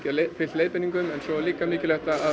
fylgt leiðbeiningum en svo er líka mikilvægt að